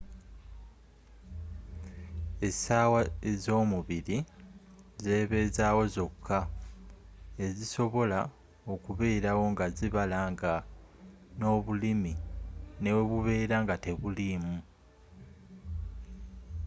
essaawa ezomubiri zebezaawo zokka ezisobola okubeerawo nga zibala nga n'obulimi newebubera nga tebuliimu